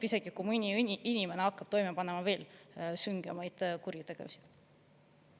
Isegi kui mõni inimene hakkab toime panema veel süngemaid kuritegusid.